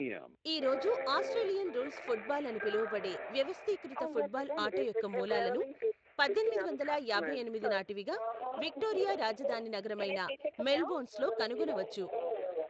ఈ రోజు Australian rules football అని పిలువబడే వ్యవస్థీకృత ఫుట్బాల్ ఆట యొక్క మూలాలను, పద్దెనిమిది వందల యాభై ఎనిమిది నాటివిగా, విక్టోరియా రాజధాని నగరమైన మెల్బోర్న్లో కనుగొనవచ్చు.